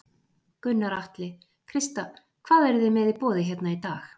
Gunnar Atli: Krista, hvað eru þið með í boði hérna í dag?